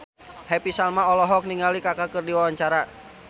Happy Salma olohok ningali Kaka keur diwawancara